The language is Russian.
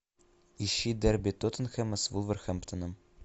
ищи дерби тоттенхэма с вулверхэмптоном